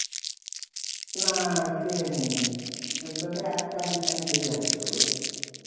না খেয়েনি. তোকে এত তাড়াতাড়ি কেন খেয়ে আজকে তুই?